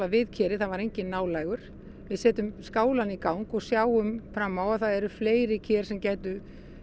við kerið það var enginn nálægur við setjum skálann í gang og sjáum fram á að það eru fleiri ker sem gætu